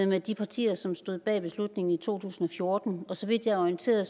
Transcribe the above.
med de partier som stod bag beslutningen i to tusind og fjorten og så vidt jeg er orienteret